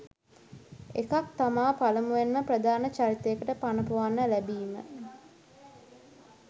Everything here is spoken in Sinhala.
එකක් තමා පළමුවෙන්ම ප්‍රධාන චරිතයකට පණ ‍පොවන්න ලැබිම